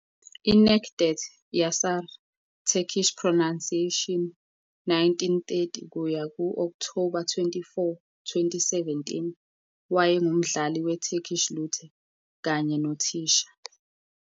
INecdet Yaşar, Turkish pronunciation- , 1930 - Okthoba 24, 2017, wayengumdlali we- Turkish lute kanye nothisha.